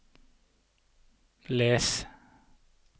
les